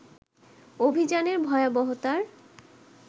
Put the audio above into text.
অভিযানের ভয়াবহতার